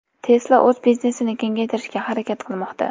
Tesla o‘z biznesini kengaytirishga harakat qilmoqda.